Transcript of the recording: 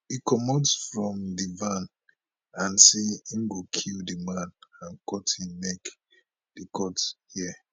e comot from di van and say im go kill di man and cut im neck di court hear